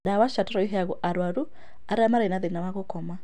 Ndawa cia toro iheangwo arwaru arĩa marĩ na thĩna wa gũkoma